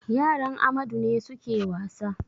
Yaran Amadu ne suke wasa.